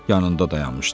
yanında dayanmışdı.